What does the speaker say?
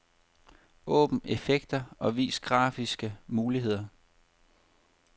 Åbn effekter og vis grafiske muligheder.